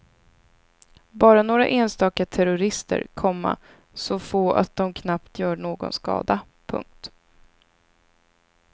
Bara några enstaka terrorister, komma så få att de knappt gör någon skada. punkt